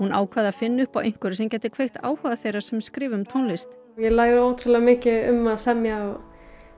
ákvað að finna upp á einhverju sem gæti kveikt áhuga þeirra sem skrifa um tónlist ég læri ótrúlega mikið um að semja og